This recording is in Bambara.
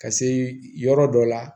Ka se yɔrɔ dɔ la